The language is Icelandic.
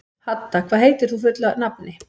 Hadda, hvað heitir þú fullu nafni?